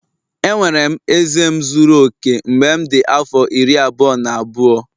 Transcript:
Enwere m eze m zuru oke mgbe m dị afọ iri abụọ na abụọ